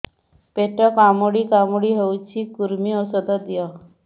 ପେଟ କାମୁଡି କାମୁଡି ହଉଚି କୂର୍ମୀ ଔଷଧ ଦିଅ